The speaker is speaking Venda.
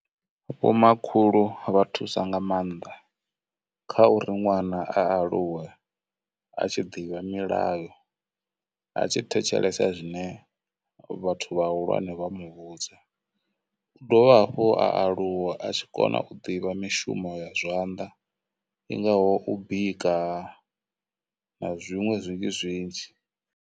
Vho makhulu vha thusa nga maanḓa kha uri ṅwana a aluwe a tshi ḓivha milayo, a tshi thetshelesa zwine vhathu vha hulwane vha mu vhudza. U dovha hafhu a aluwa a tshi kona u ḓivha mishumo ya zwanḓa, i ngaho u bika, na zwinwe zwinzhi zwinzhi.